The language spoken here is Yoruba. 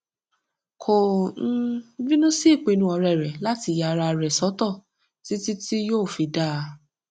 kò um bínú sí ìpinnu ọ̀rẹ́ rẹ̀ láti yà ara rẹ̀ sọtọ títí tí yóò fi dáa